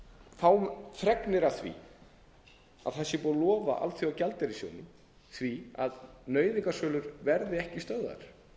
fáum fregnir af því að það sé búið að lofa alþjóðagjaldeyrissjóðnum því að nauðungarsölur verði ekki stöðvaðar